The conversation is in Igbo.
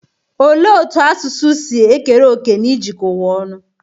Olee otú asụsụ si ekere òkè na ijikọ ụwa ọnụ?